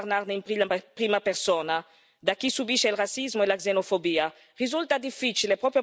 A volte è difficile parlarne in prima persona, per chi subisce il razzismo e la xenofobia.